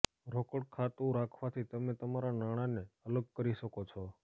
રોકડ ખાતું રાખવાથી તમે તમારા નાણાંને અલગ કરી શકો છો